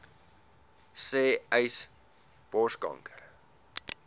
sê uys borskanker